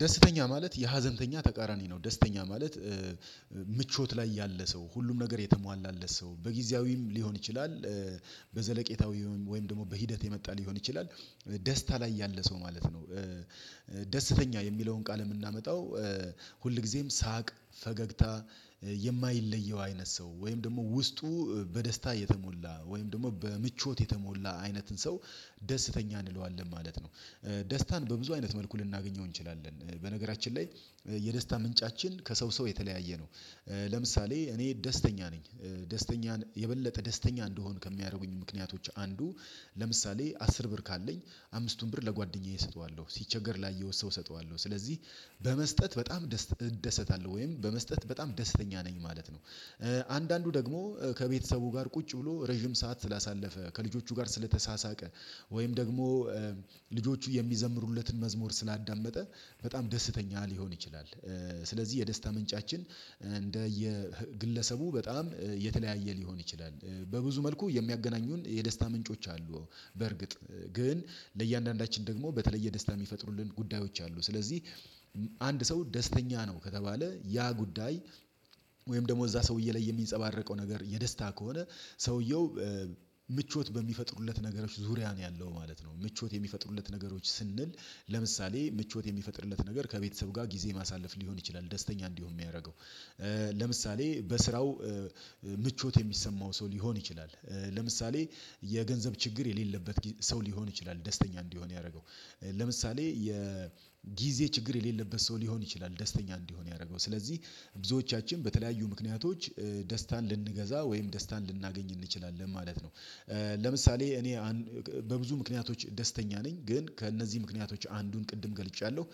ደስተኛ ማለት የሀዘንተኛ ተቃራኒ ነው ደስተኛ ማለት ምቾት ላይ ያለ ሰው ሁሉም ነገር የተሟላለት ሰው በጊዜያዊም ሊሆን ይችላል። በዘለቄታዊ ወይም ደግሞ በሂደት የመጣ ሊሆን ይችላል። ደስታ ላይ ያለ ሰው ማለት ነው። ደስተኛ የሚለውን ቃል የምናመጣው ሁልጊዜም ሳቅ ፈገግታ የማይለየው አይነት ሰው ወይም ደግሞ ውስጡ በደስታ የተሞላ ወይም ደግሞ በምቾት የተሞላ አይነትን ሰው። ደስተኛ እንለዋለን ማለት ነው። ደስታን በብዙ አይነት መልኩ ልናገኘው እንችላለን በነገራችን ላይ የደስታ ምንጫችን ከሰው ሰው የተለያየ ነው። ለምሳሌ እኔ ደስተኛ ነኝ ደስተኛ የበለጠ ደስተኛ እንደሆን ከሚያደርጉኝ ምክንያቶች አንዱ። ለምሳሌ አስር ብር ካለኝ አምስቱን ብር ለጓደኛዬ እሰጠዋለሁ ሲቸገር ላይ የወሰው እሰጠዋለሁ ስለዚህ በመስጠት በጣም ደስተኛ እደሰታለሁ ወይም በመስጠት በጣም ደስተኛ ነኝ ማለት ነው። አንዳንዱ ደግሞ ከቤተሰቡ ጋር ቁጭ ብሎ ረጅም ሰዓት ስላሳለፈ ከልጆቹ ጋር ስለተሳሳቀ ወይም ደግሞ ልጆቹ የሚዘምሩለትን መዝሙር ስላዳመጠ በጣም ደስተኛ ሊሆን ይችላል። ስለዚህ የደስታ ምንጫችን እንደ የግለሰቡ በጣም የተለያየ ሊሆን ይችላል። በብዙ መልኩ የሚያገናኙን የደስታ ምንጮች አሉ። በርግጥ ግን ለእያንዳንዳችን ደግሞ በተለየ ደስታ የሚፈጥሩልን ጉዳዮች አሉ። ስለዚህ አንድ ሰው ደስተኛ ነው ከተባለ ያ ጉዳይ ወይም ደግሞ እዛ ሰውዬ ላይ የሚንጸባረቀው ነገር የደስታ ከሆነ ሰውየው ምቾት በሚፈጥሩለት ነገሮች ዙሪያ ነው ያለው ማለት ነው። ምቾት የሚፈጥሩለት ነገሮች ስንል ለምሳሌ ምቾት የሚፈጥርለት ነገር ከቤተሰብ ጋር ጊዜ ማሳለፍ ሊሆን ይችላል ደስተኛ እንዲሆን የሚያደርገው። ለምሳሌ በስራው ምቾት የሚሰማው ሰው ሊሆን ይችላል። ለምሳሌ የገንዘብ ችግር የሌለበት ሰው ሊሆን ይችላል ደስተኛ እንዲሆን ያደረገው። ለምሳሌ የጊዜ ችግር የሌለበት ሰው ሊሆን ይችላል ደስተኛ እንዲሆን ያደረገው ስለዚህ ብዙዎቻችን በተለያዩ ምክንያቶች ደስታን ልንገዛ ወይም ደስታን ልናገኝ እንችላለን ማለት ነው። ለምሳሌ እኔ በብዙ ምክንያቶች ደስተኛ ነኝ ግን ከእነዚህ ምክንያቶች አንዱን ቅድም ገልጫለሁ።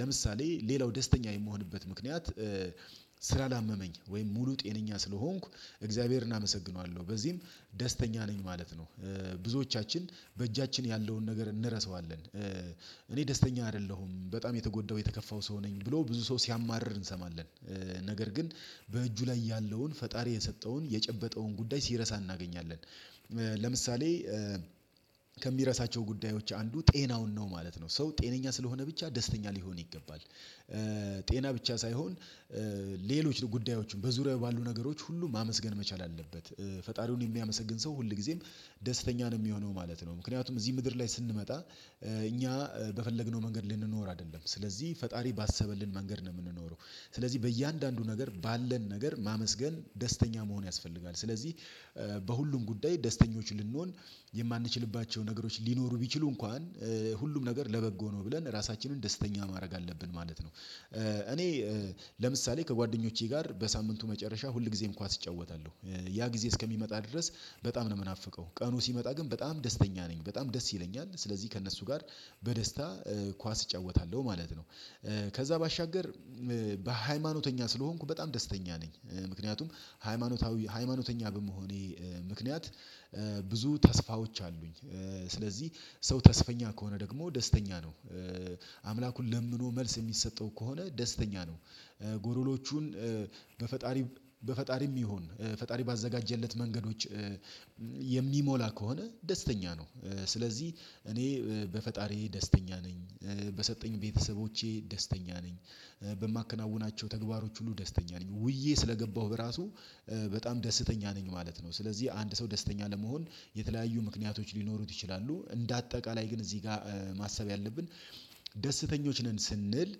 ለምሳሌ ሌላው ደስተኛ የምሆንበት ምክንያት ስላላመመኝ ወይም ሙሉ ጤነኛ ስለሆንኩ እግዚአብሔርን አመሰግነዋለሁ በዚህም ደስተኛ ነኝ ማለት ነው። ብዙዎቻችን በእጃችን ያለውን ነገር እንረሳዋለን። እኔ ደስተኛ አይደለሁም በጣም የተጎዳው የተከፋው ሰው ነኝ ብሎ ብዙ ሰው ሲያማርር እንሰማለን። ነገር ግን በእጁ ላይ ያለውን ፈጣሪ የሰጠውን የጨበጠውን ጉዳይ ሲረሳ እናገኛለን። ለምሳሌ ከሚረሳቸው ጉዳዮች አንዱ ጤናውን ነው ማለት ነው ሰው ጤነኛ ስለሆነ ብቻ ደስተኛ ሊሆን ይገባል። ጤና ብቻ ሳይሆን ሌሎች ጉዳዮችን በዙሪያው ባሉ ነገሮች ሁሉ ማመስገን መቻል አለበት። ፈጣሪውን የሚያመሰግን ሰው ሁል ጊዜም ደስተኛ ነው የሚሆነው ማለት ነው። ምክንያቱም እዚህ ምድር ላይ ስንመጣ እኛ በፈለግነው መንገድ ልንኖር አይደለም ስለዚህ ፈጣሪ ባሰበልን መንገድ ነው የምንኖረው። ስለዚህ በእያንዳንዱ ነገር ባለን ነገር ማመስገን ደስተኛ መሆን ያስፈልጋል ስለዚህ በሁሉም ጉዳይ ደስተኞች ልንሆን የማንችልባቸው ነገሮች ሊኖሩ ቢችሉ እንኳን ሁሉም ነገር ለበጎ ነው ብለን ራሳችንን ደስተኛ ማድረግ አለብን ማለት ነው። እኔ ለምሳሌ ከጓደኞቼ ጋር በሳምንቱ መጨረሻ ሁል ጊዜም ኳስ እጫወታለሁ ያ ጊዜ እስከሚመጣ ድረስ በጣም ነው የምናፍቀው ቀኑ ሲመጣ ግን በጣም ደስተኛ ነኝ በጣም ደስ ይለኛል ስለዚህ ከእነሱ ጋር በደስታ ኳስ እጫወታለሁ ማለት ነው። ከዛ ባሻገር በሃይማኖተኛ ስለሆንኩ በጣም ደስተኛ ነኝ ምክንያቱም ሃይማኖታዊ ሃይማኖተኛ በመሆኔ ምክንያት ብዙ ተስፋዎች አሉኝ። ስለዚህ ሰው ተስፈኛ ከሆነ ደግሞ ደስተኛ አምላኩን ለምኖ መልስ የሚሰጠው ከሆነ ደስተኛ ነው። ጎሎሎቹን በፈጣሪ በፈጣሪም ይሁን ፈጣሪ ባዘጋጀለት መንገዶች የሚሞላ ከሆነ ደስተኛ ነው። ስለዚህ እኔ በፈጣሪዬ ደስተኛ ነኝ በሰጠኝ ቤተሰቦቼ ደስተኛ ነኝ በማከናውናቸው ተግባሮች ሁሉ ደስተኛ ነኝ ውዬ ስለገባሁ በራሱ በጣም ደስተኛ ነኝ ማለት ነው። ስለዚህ አንድ ሰው ደስተኛ ለመሆን የተለያዩ ምክንያቶች ሊኖሩት ይችላሉ። እንደ አጠቃላይ ግን እዚህ ጋር ማሰብ ያለብን ደስተኞች ነን ስንል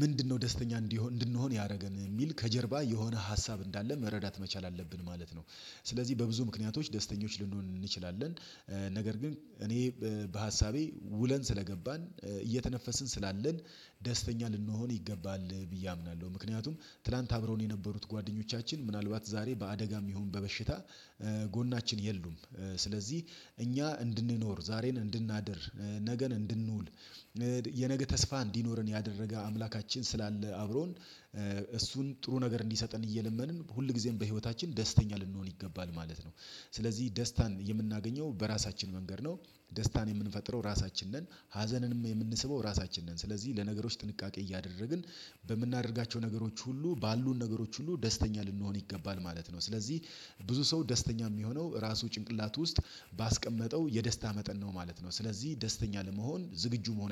ምንድነው ደስተኛ እንዲሆን እንድንሆን ያደረገን የሚል ከጀርባ የሆነ ሀሳብ እንዳለ መረዳት መቻል አለብን ማለት ነው። ስለዚህ በብዙ ምክንያቶች ደስተኞች ልንሆን እንችላለን። ነገር ግን እኔ በሀሳቤ ውለን ስለገባን እየተነፈስን ስላለን ደስተኛ ልንሆን ይገባል ብዬ አምናለሁ። ምክንያቱም ትላንት አብረው የነበሩት ጓደኞቻችን ምናልባት ዛሬ በአደጋም ይሁን በበሽታ ጎናችን የሉም። ስለዚህ እኛ እንድንኖር ዛሬን እንድናድር ነገን እንድንውል የነገ ተስፋ እንዲኖረን ያደረገ አምላካችን ስላለ አብሮን እሱን ጥሩ ነገር እንዲሰጠን እየለመንን ሁልጊዜም በህይወታችን ደስተኛ ልንሆን ይገባል ማለት ነው። ስለዚህ ደስታን የምናገኘው በራሳችን መንገድ ነው። ደስታን የምንፈጥረው ራሳችን ነን። ሀዘንንም የምንስበው ራሳችን ነን ስለዚህ ለነገሮች ጥንቃቄ እያደረግን በምናደርጋቸው ነገሮች ሁሉ ባሉን ነገሮች ሁሉ ደስተኛ ልንሆን ይገባል ማለት ነው። ስለዚህ ብዙ ሰው ደስተኛ የሚሆነው ራሱ ጭንቅላት ውስጥ ባስቀመጠው የደስታ መጠን ነው ማለት ነው። ስለዚህ ደስተኛ ለመሆን ዝግጁ መሆን